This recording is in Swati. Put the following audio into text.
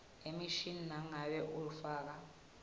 emishini nangabe ufaka